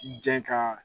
Jɛn ka